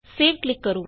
save ਤੇ click ਕਰੋ